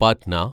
Patna